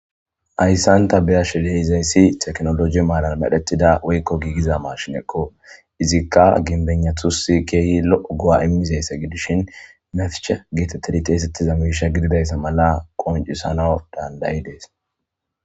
ayssanta beyash deizayssi teknologi maalan medhetida woykko giigiza maashinekko izikka ginbennathusi keehi lo7o go7a imizayssa gidishin mefcha geetettedi teesettiza miisha gididayssa mala qoncisana dandayi dees